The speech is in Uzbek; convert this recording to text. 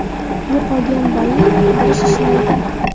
Yo‘qolgan Boeing‘ni qidirish ishlarida.